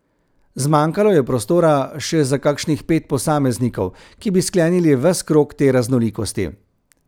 Zmanjkalo je prostora še za kakšnih pet posameznikov, ki bi sklenili ves krog te raznolikosti.